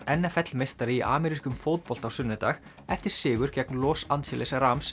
n f l meistari í amerískum fótbolta á sunnudag eftir sigur gegn Los Angeles